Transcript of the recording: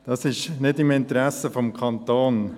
Das ist nicht im Interesse des Kantons.